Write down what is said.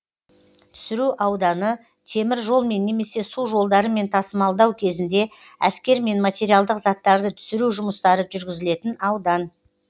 түсіру ауданы темір жолмен немесе су жолдарымен тасымаддау кезінде әскер мен материалдық заттарды түсіру жұмыстары жүргізілетін аудан